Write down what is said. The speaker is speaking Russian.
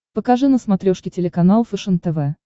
покажи на смотрешке телеканал фэшен тв